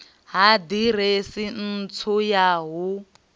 ha ḓiresi ntswa ya hu